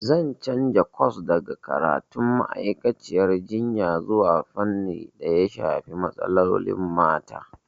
Zan canza kwas daga karatun ma'aikaciyar jinya zuwa fannin daya shafi matsalolin mata.